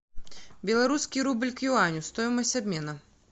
белорусский рубль к юаню стоимость обмена